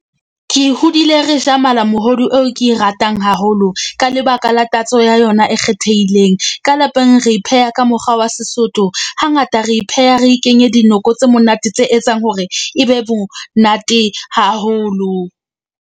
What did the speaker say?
Ke hodile re ja malamohodu eo ke e ratang haholo ka lebaka la tatso ya yona e kgethehileng. Ka lapeng re pheha ka mokgwa wa Sesotho. Hangata re pheha re kenye dinoko tse monate tse etsang hore ebe bonate haholo.